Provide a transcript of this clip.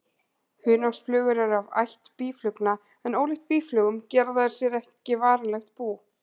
Hunangsflugur eru af ætt býflugna en ólíkt býflugum gera þær sér ekki varanlegt bú.